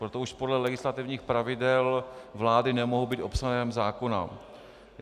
Proto už podle legislativních pravidel vlády nemohou být obsahem zákona.